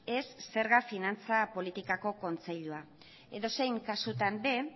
ez zerga finantza politikako kontseilua edozein kasutan ere